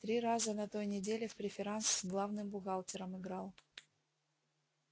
три раза на той неделе в преферанс с главным бухгалтером играл